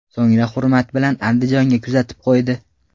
So‘ngra hurmat bilan Andijonga kuzatib qo‘ydi.